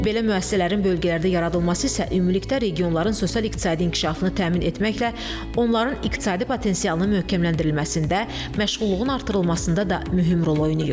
Belə müəssisələrin bölgələrdə yaradılması isə ümumilikdə regionların sosial-iqtisadi inkişafını təmin etməklə, onların iqtisadi potensialının möhkəmləndirilməsində, məşğulluğun artırılmasında da mühüm rol oynayır.